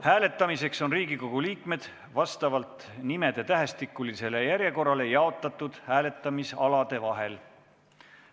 Hääletamiseks on Riigikogu liikmed vastavalt nimede tähestikulisele järjekorrale jaotatud hääletamisalade vahel.